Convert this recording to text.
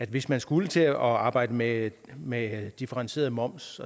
hvis man skulle til at arbejde med med differentieret moms